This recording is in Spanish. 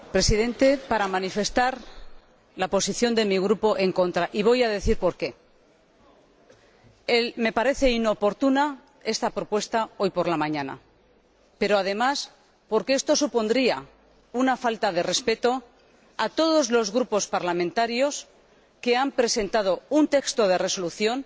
Señor Presidente, intervengo para manifestar la posición de mi Grupo en contra, y voy a decir por qué porque me parece inoportuno presentar esta propuesta hoy por la mañana, pero, además, porque esto supondría una falta de respeto a todos los grupos parlamentarios que han presentado un texto de resolución.